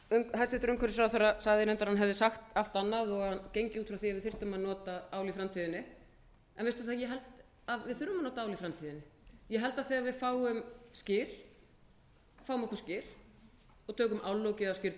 hæstvirtur umhverfisráðherra sagði reyndar að hann hefði sagt allt annað og hann gengi út frá því að við þyrftum að nota ál í framtíðinni en veit það ég held að við þurfum að nota ál í framtíðinni ég held að degi við fáum skyr fáum okkur skyr og tökum